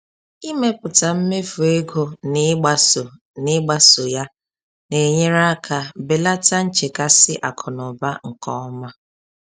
Ịmepụta mmefu ego na ịgbaso na ịgbaso ya na-enyere aka belata nchekasị akụnaụba nke ọma